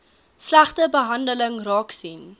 slegte behandeling raaksien